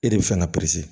E de bɛ fɛ ka